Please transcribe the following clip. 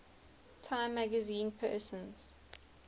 time magazine persons